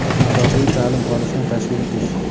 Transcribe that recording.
masofaviy) ta’lim olishni tashkil etish;.